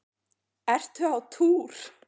Ertu á túr?